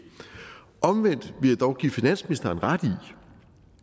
omvendt vil jeg dog give finansministeren ret i